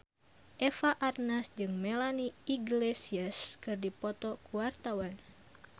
Eva Arnaz jeung Melanie Iglesias keur dipoto ku wartawan